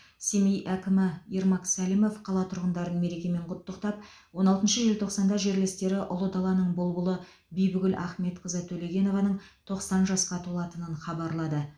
семей әкімі ермак сәлімов қала тұрғындарын мерекемен құттықтап он алтыншы желтоқсанда жерлестері ұлы даланың бұлбұлы бибігүл ахметқызы төлегенованың тоқсан жасқа толатынын хабарлады